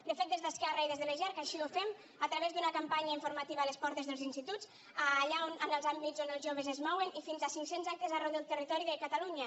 de fet des d’esquerra i des de les jerc així ho fem a través d’una campanya informativa a les portes dels instituts allà en els àmbits on els joves es mouen i fins a cinccents actes arreu del territori de catalunya